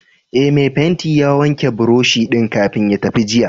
Ee, mai fenti ya wanke buroshi din kafin ya tafi jiya.